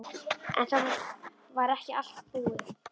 En það var ekki allt búið.